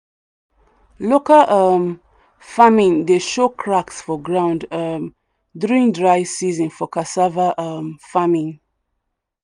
local um farming dey show cracks for ground um during dry season for cassava um farming.